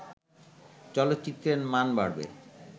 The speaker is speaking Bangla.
চলচ্চিত্রের মান বাড়বে